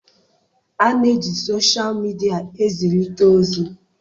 A na-eji soshal midia ezirita ozi.